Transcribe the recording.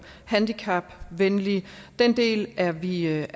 handicapvenlige den del er vi ret